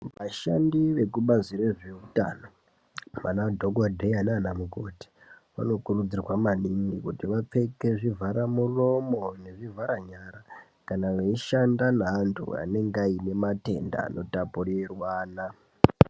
Vashandi vekubazi rezveutano anadhogodheya naana mukoti vanokurudzirwa maningi kuti vapfeke zvivhara muromo nezvivhara nyara kana veishanda neantu anenge aine matenda anotapurirwana.